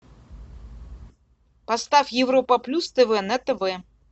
поставь европа плюс тв на тв